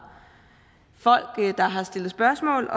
folk der har stillet spørgsmål